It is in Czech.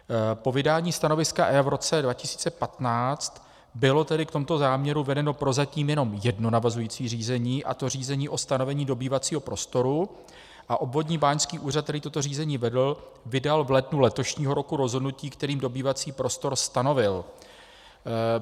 Po vydání stanoviska EIA v roce 2015 bylo tedy v tomto záměru vedeno prozatím jenom jedno navazující řízení, a to řízení o stanovení dobývacího prostoru, a obvodní báňský úřad, který toto řízení vedl, vydal v lednu letošního roku rozhodnutí, kterým dobývací prostor stanovil.